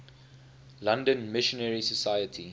london missionary society